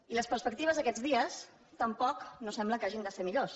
i les perspectives d’aquests dies tampoc no sembla que hagin de ser millors